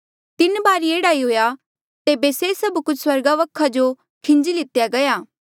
तीन बारी एह्ड़ा ई हुएया तेबे से सभ कुछ स्वर्गा वखा जो खिंजी लिती गया